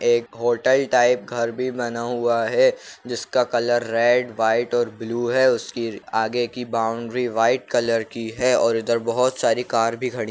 एक hotel type घर भी बना हुआ है जिसका कलर रेड व्हाइट और ब्लू है उसकी आगे की बाउंड्री व्हाइट कलर की है और इधर बहोत सारी कार भी खड़ी--